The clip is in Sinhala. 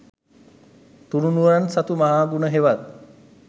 තුණුරුවන් සතු මහ ගුණ හෙවත්